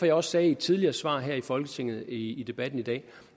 jeg også sagde i et tidligere svar her i folketinget i debatten i dag